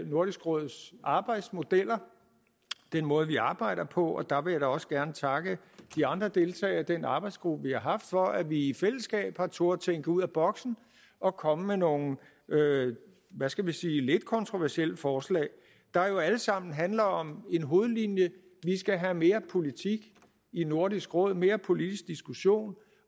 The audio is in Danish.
nordisk råds arbejdsmodeller den måde vi arbejder på og der vil jeg da også gerne takke de andre deltagere i den arbejdsgruppe vi har haft for at vi i fællesskab har turdet tænke ud af boksen og komme med nogle hvad skal vi sige lidt kontroversielle forslag der jo alle sammen handler om en hovedlinje vi skal have mere politik i nordisk råd mere politisk diskussion